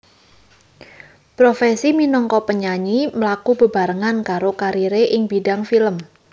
Profesi minangka penyanyi mlaku bebarengan karo kariré ing bidang film